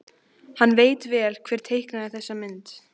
Hann veit vel hver teiknaði þessa mynd.